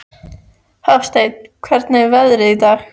Hafsteinn, hvernig er veðrið í dag?